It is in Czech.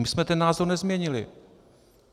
My jsme ten názor nezměnili.